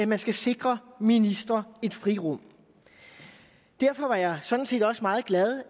man skal sikre ministre et frirum derfor var jeg sådan set også meget glad